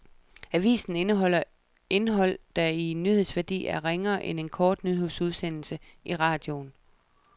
Avisen indeholder indhold der i nyhedsværdi er ringere end en kort nyhedsudsendelse i radioen.